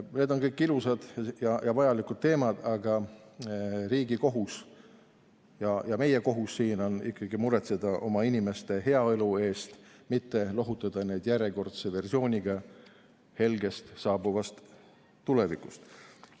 Need on kõik ilusad ja vajalikud teemad, aga riigi ja meie kohus siin on ikkagi muretseda oma inimeste heaolu eest, mitte lohutada neid järjekordse versiooniga saabuvast helgest tulevikust.